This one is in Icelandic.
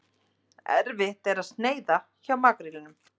Erfitt að sneiða hjá makrílnum